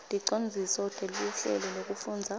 ticondziso teluhlelo lwekufundza